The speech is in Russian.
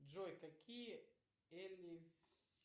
джой какие